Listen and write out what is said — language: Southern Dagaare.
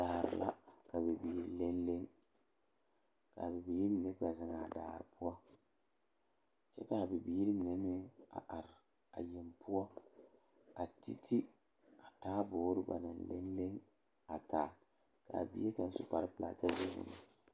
Daare la ka bibiiri leŋ leŋ ka a bibiiri mine kpɛ zeŋ a daare poɔ kyɛ k,a bibiiri mine meŋ a are a yeŋ poɔ a ti ti a taaboore ba naŋ leŋ leŋ a taa k,a bie kaŋ a su kparepelaa kyɛ zɛge o nu.